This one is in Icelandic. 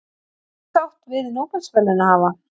Ósátt við Nóbelsverðlaunahafa